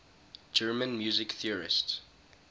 german music theorists